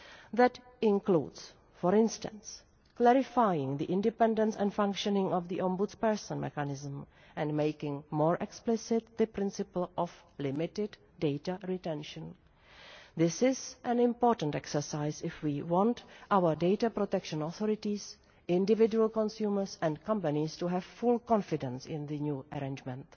That includes, for instance, clarifying the independence and functioning of the ombudsperson mechanism and making more explicit the principle of limited data retention. This is an important exercise if we want our data protection authorities, individual consumers and companies to have full confidence in the new arrangement.